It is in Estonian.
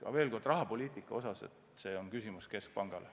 Aga veel kord: rahapoliitika on küsimus keskpangale.